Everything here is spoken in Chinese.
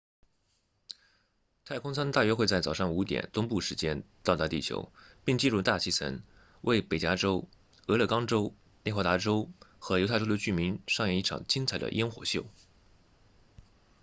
太空舱大约会在早上5点东部时间到达地球并进入大气层为北加州俄勒冈州内华达州和犹他州的居民上演一场精彩的焰火秀